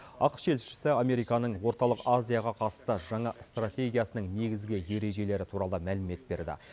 ақш елшісі американың орталық азияға қатысты жаңа стратегиясының негізгі ережелері туралы мәлімет берді